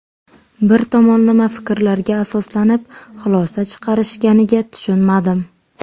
Bir tomonlama fikrlarga asoslanib, xulosa chiqarishganiga tushunmadim.